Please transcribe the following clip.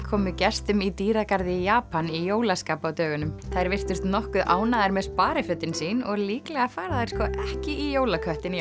komu gestum í dýragarði í Japan í jólaskap á dögunum þær virtust nokkuð ánægðar með sparifötin sín og líklega fara þær sko ekki í jólaköttinn í